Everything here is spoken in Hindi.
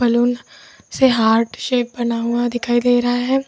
से हार्ट शेप बना हुआ दिखाई दे रहा है।